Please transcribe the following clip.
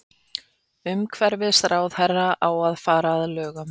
Umhverfisráðherra á að fara að lögum